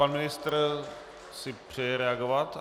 Pan ministr si přeje reagovat?